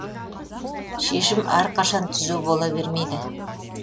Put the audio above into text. шешім әрқашан түзу бола бермейді